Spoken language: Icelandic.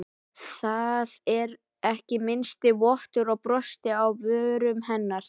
Það var ekki minnsti vottur af brosi á vörum hennar.